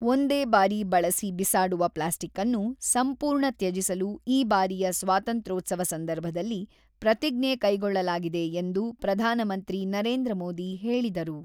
ಒಂದೇ ಬಾರಿ ಬಳಸಿ ಬಿಸಾಡುವ ಪ್ಲಾಸ್ಟಿಕ್‌ಅನ್ನು ಸಂಪೂರ್ಣ ತ್ಯಜಿಸಲು ಈ ಬಾರಿಯ ಸ್ವಾತಂತ್ರೋತ್ಸವ ಸಂದರ್ಭದಲ್ಲಿ ಪ್ರತಿಜ್ಞೆ ಕೈಗೊಳ್ಳಲಾಗಿದೆ ಎಂದು ಪ್ರಧಾನಮಂತ್ರಿ ನರೇಂದ್ರ ಮೋದಿ ಹೇಳಿದರು.